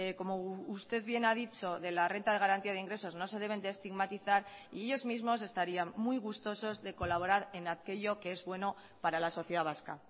como usted bien ha dicho de la renta de garantía de ingresos no se deben de estigmatizar y ellos mismos estarían muy gustosos de colaborar en aquello que es bueno para la sociedad vasca